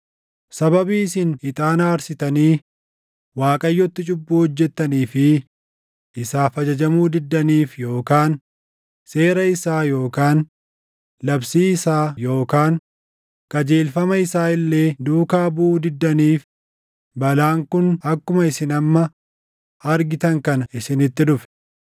Sababii isin ixaana aarsitanii Waaqayyotti cubbuu hojjettanii fi isaaf ajajamuu diddaniif yookaan seera isaa yookaan labsii isaa yookaan qajeelfama isaa illee duukaa buʼuu diddaniif balaan kun akkuma isin amma argitan kana isinitti dhufe.”